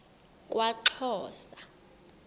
kwaxhosa